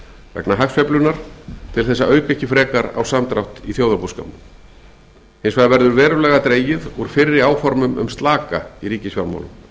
vegna hagsveiflunnar til þess að auka ekki frekar á samdrátt í þjóðarbúskapnum hins vegar verður verulega dregið úr fyrri áformum um slaka í ríkisfjármálum